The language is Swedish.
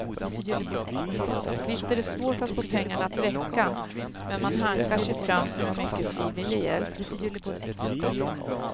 Visst är det svårt att få pengarna att räcka, men man hankar sig fram med mycket frivillig hjälp.